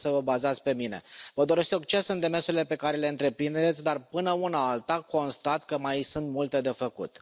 Puteți să vă bazați pe mine. Vă doresc succes în demersurile pe care le întreprindeți, dar, până una alta, constat că mai sunt multe de făcut.